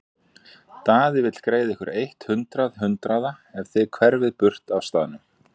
Daði vill greiða ykkur eitt hundrað hundraða ef þið hverfið burt af staðnum.